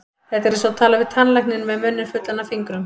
Þetta er eins og tala við tannlækninn með munninn fullan af fingrum.